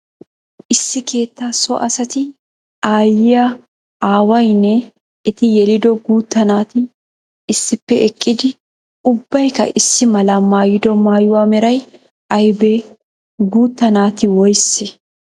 Issi keettaa so asatti aayiya aawayinne etti yelido guutta naati issippe eqqiddi ubbaykka issi mala maayido maayuwaa meray aybbe? Guutta naati woysse?